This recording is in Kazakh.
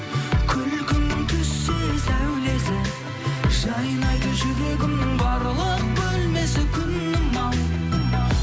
күлкіңнің түссе сәулесі жайнайды жүрегімнің барлық бөлмесі күнім ау